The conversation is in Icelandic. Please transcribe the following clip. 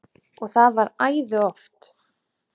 Og það var æði oft.